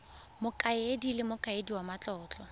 mokaedi le mokaedi wa matlotlo